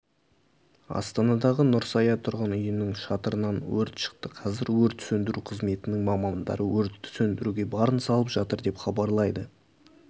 астанадағы нұрсая тұрғын үйінің шатырынан өрт шықты қазір өрт сөндіру қызметінің мамандары өртті сөндіруге барын салып жатыр деп хабарлайды